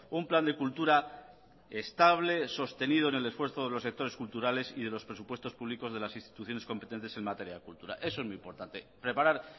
un plan de cultura estable sostenido en el esfuerzo de los sectores culturales y de los presupuestos públicos de las instituciones competentes en materia de cultura eso es muy importante preparar